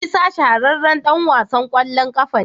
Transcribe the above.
Isa shahararren dan wasan kwallon kafa ne.